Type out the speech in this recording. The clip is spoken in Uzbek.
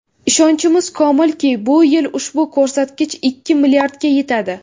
Ishonchimiz komilki, bu yil ushbu ko‘rsatkich ikki milliardga yetadi.